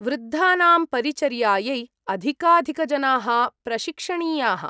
वृद्धानां परिचर्यायै अधिकाधिकजनाः प्रशिक्षणीयाः।